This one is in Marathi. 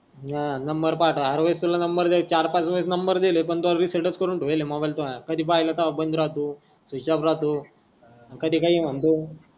हा नंबर पाठव हर वेडेस तुला नंबर द्यायचं चार पाच वेडेस नंबर दिले पण त्यो रीसेट करून ठेवले मोबाइल त्यो कधी पहिलो त्यो बंध राहतोस्विच ऑफ राहतो कधी काही मनतो.